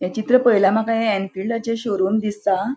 हे चित्र पळयल्यार माका हे एंफिल्डाचे शोरूम दिसता.